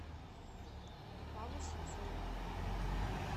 павлу синцову